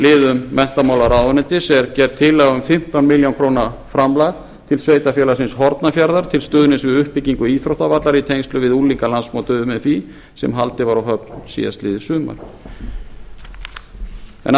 liðum menntamálaráðuneytis er gerð tillaga um fimmtán milljónir króna framlag til sveitarfélagsins hornafjarðar til stuðnings við uppbyggingu íþróttavallar í tengslum við unglingalandsmót umfí sem haldið var á höfn síðastliðið sumar en